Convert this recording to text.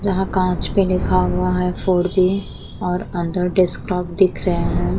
यहाँ कांच पे लिखा हुआ हैं फोर जी और अंदर डेस्कटॉप दिख रहे हैं।